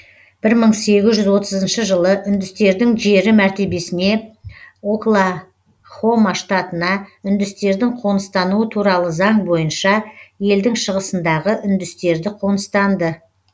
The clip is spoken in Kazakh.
бір мың сегіз жүз отызыншы жылы үндістердің жері мәртебесіне оклахома штатына үндістердің қоныстануы туралы заң бойынша елдің шығысындағы үндістерді қоныстанды